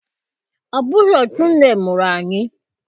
Ọ bụghị otú nne mụrụ anyị